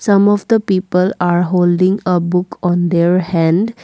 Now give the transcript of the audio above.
some of the people are holding a book on their hand.